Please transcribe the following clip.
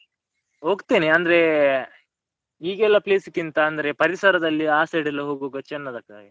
ಹೋಗ್ತೇನೆ ಅಂದ್ರೆ, ಈಗೆಲ್ಲ place ಕ್ಕಿಂತ ಅಂದ್ರೆ ಪರಿಸರದಲ್ಲಿ ಆ side ಎಲ್ಲ ಹೋಗುವಾಗ ಚನ್ನದು ಆಗ್ತದೆ ಹಾಗೆ.